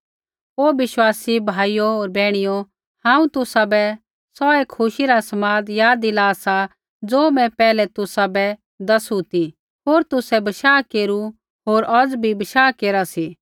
हे विश्वासी भाइयो होर बैहणियो हांऊँ तुसाबै सौऐ खुशी रा समाद याद दिला सा ज़ो मैं पैहलै तुसाबै दसु ती होर तुसै बशाह केरू होर औज़ भी बशाह केरा सी